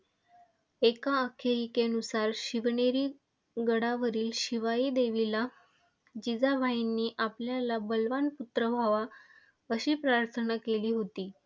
एका आख्यायिकेनुसार, शिवनेरी गडावरील शिवाई देवीला जिजाबाईंनी आपल्याला बलवान पुत्र व्हावा अशी प्रार्थना केली होती.